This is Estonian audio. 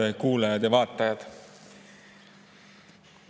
Head kuulajad ja vaatajad!